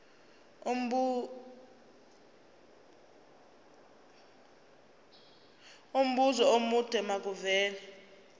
umbuzo omude makuvele